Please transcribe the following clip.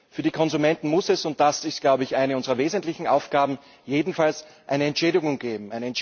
Für die Konsumenten muss es und das ist, glaube ich, eine unserer wesentlichen Aufgaben jedenfalls eine Entschädigung geben.